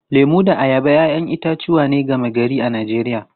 Lemu da ayaba ‘ya’yan itatuwa ne gama-gari a Najeriya.